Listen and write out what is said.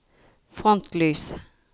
frontlys